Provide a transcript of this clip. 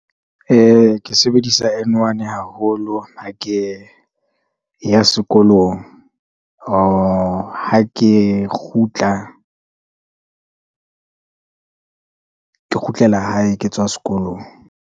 Ke sebedisa N1 haholo, ha ke ya sekolong, or ha ke kgutla . Ke kgutlela hae ke tswa sekolong.